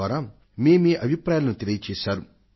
in ద్వారా మీమీ అభిప్రాయాలను తెలియజేశారు